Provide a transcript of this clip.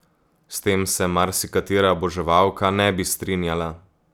S tem se marsikatera oboževalka ne bi strinjala.